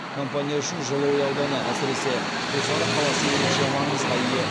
компания үшін жылыой ауданы әсіресе құлсары қаласы ерекше маңызға ие